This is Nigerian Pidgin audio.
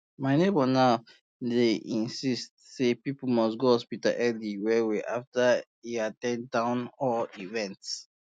my neighbor now dey insist say people must go hospital early wellwell after um e at ten d um town hall event